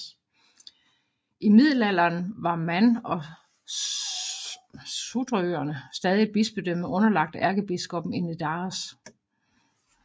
I middelalderen var Man og Sudrøerne stadig et bispedømme underlagt ærkebiskoppen i Nidaros